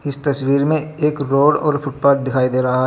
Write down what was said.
इस तस्वीर में एक रोड और फुटपाथ दिखाई दे रहा है. फुट--